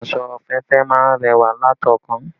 Aṣọ òféèfé má ń rẹwà láti ọ̀ọ́kán